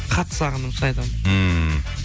қатты сағындым шын айтамын ммм